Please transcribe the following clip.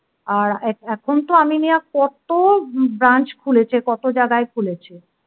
আর এখন তো আমিনিয়া, কত branch খুলেছে কত জায়গায় খুলেছে